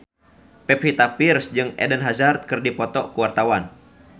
Pevita Pearce jeung Eden Hazard keur dipoto ku wartawan